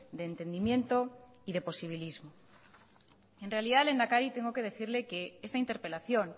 de entendimiento y de posibilismo en realidad lehendakari tengo que decirle que esta interpelación